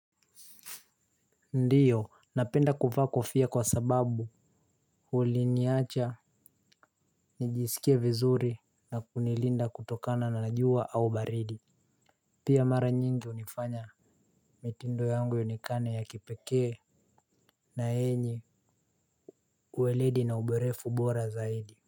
Ndiyo napenda kuvaa kofia kwa sababu huliniacha nijisikie vizuri na kunilinda kutokana na najua au baridi. Pia mara nyingi unifanya mitindo yangu ionekane ya kipekee Ns yenye uweledi na uborefu bora zaidi.